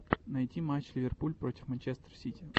найти матч ливерпуль против манчестер сити